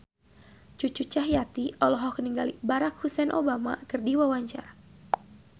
Cucu Cahyati olohok ningali Barack Hussein Obama keur diwawancara